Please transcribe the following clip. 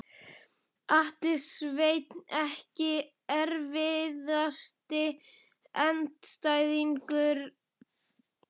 Atli Sveinn EKKI erfiðasti andstæðingur?